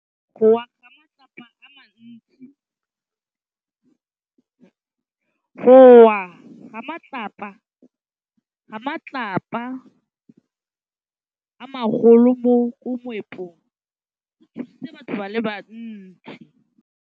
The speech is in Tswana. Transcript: Go wa ga matlapa a magolo ko moepong go tshositse batho ba le bantsi.